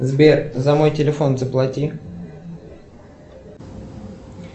сбер за мой телефон заплати